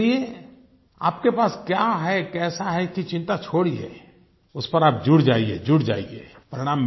और इसलिए आप के पास क्या है कैसा है इसकी चिंता छोड़िए उस पर आप जुट जाइए जुट जाइए